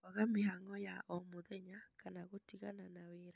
Kwaga mĩhango ya o mũthenya kana gũtigana na wĩra